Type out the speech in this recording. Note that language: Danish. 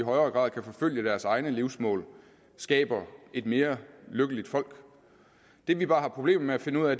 i højere grad kan forfølge deres egne livsmål skaber et mere lykkeligt folk det vi bare har problemer med at finde ud